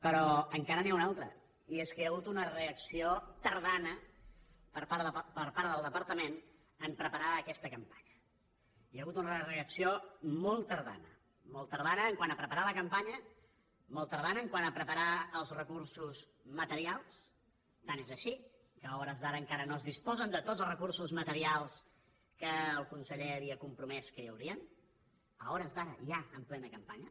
però encara n’hi ha un altre i és que hi ha hagut una reacció tardana per part del departament a preparar aquesta campanya hi ha hagut una reacció molt tardana molt tardana quant a preparar la campanya molt tardana quant a preparar els recursos materials tant és així que a hores d’ara encara no es disposa de tots els recursos materials que el conseller havia compromès que hi haurien a hores d’ara ja en plena campanya